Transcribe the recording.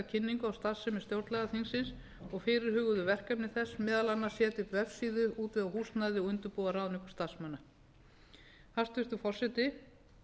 kynningu á starfsemi stjórnlagaþingsins og fyrirhuguðu verkefni þess meðal annars að setja upp vefsíðu útvega húsnæði og undirbúa ráðningu starfsmanna hæstvirtur forseti